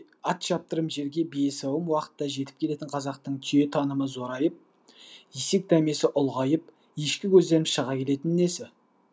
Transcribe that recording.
атшаптырымжерге биесауым уақытта жетіп келетін қазақтың түйетанымы зорайып есекдәмесі ұлғайып ешкікөзденіп шыға келетіні несі